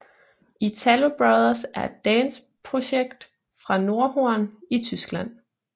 ItaloBrothers er et dance projekt fra Nordhorn i Tyskland